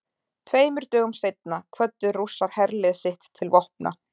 Tveimur dögum seinna kvöddu Rússar herlið sitt til vopna.